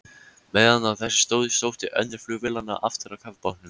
Meðan á þessu stóð, sótti önnur flugvélanna aftur að kafbátnum.